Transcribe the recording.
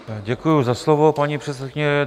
Děkuji za slovo, paní předsedkyně.